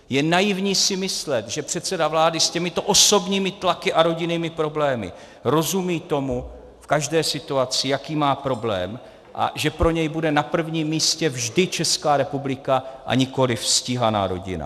Je naivní si myslet, že předseda vlády s těmito osobními tlaky a rodinnými problémy rozumí tomu, v každé situaci, jaký má problém, a že pro něj bude na prvním místě vždy Česká republika a nikoliv stíhaná rodina.